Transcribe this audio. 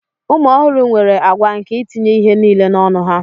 ụmụ ọhụrụ nwere àgwà nke itinye ihe niile n'ọnụ ha